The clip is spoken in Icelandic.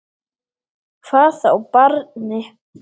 Hvað þá barni.